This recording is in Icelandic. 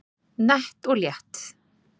Nett og létt